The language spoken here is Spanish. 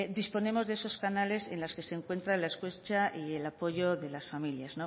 disponemos de esos canales en las que se encuentra la escucha y el apoyo de las familias